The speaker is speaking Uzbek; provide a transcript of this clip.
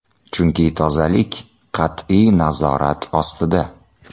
Chunki tozalik qat’iy nazorat ostida.